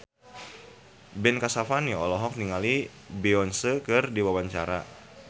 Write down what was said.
Ben Kasyafani olohok ningali Beyonce keur diwawancara